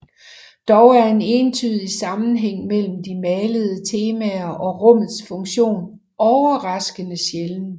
Dog er en entydig sammenhæng mellem de malede temaer og rummets funktion overraskende sjælden